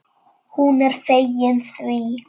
Hún er fegin því.